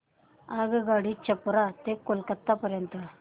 आगगाडी छपरा ते कोलकता पर्यंत